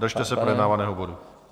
Držte se projednávaného bodu.